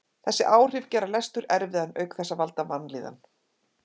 Þessi áhrif gera lestur erfiðan auk þess að valda vanlíðan.